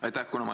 Aitäh!